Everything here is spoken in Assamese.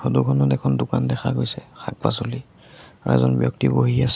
ফটোখনত এখন দোকান দেখা গৈছে শাক-পাছলি আৰু এজন ব্যক্তি বহি আছে।